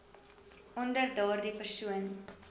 onder daardie persoon